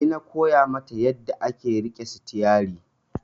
Ni na koya mata yanda ake riƙe sitiyari